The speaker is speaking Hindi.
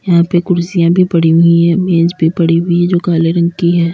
यहां पर कुर्सियां भी पड़ी हुई हैं। मेज भी पड़ी हुई हैं जो काले रंग की हैं।